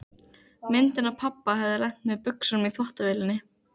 Myndin af pabba hafði lent með buxunum í þvottavélinni.